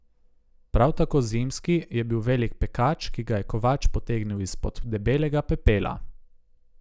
Prav tako zimski je bil velik pekač, ki ga je kovač potegnil izpod debelega pepela.